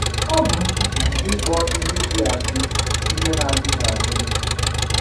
Ọ bụ nzuzu ịkpọ ihe dị adị ihe na adịghị adị.